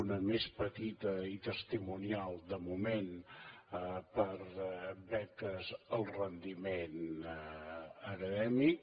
una més petita i testimonial de moment per a beques al rendiment acadèmic